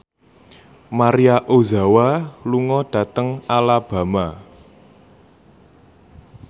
Maria Ozawa lunga dhateng Alabama